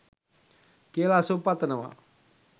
කියලා සුභ පතනවා